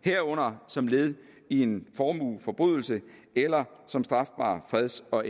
herunder som led i en formueforbrydelse eller som strafbare freds og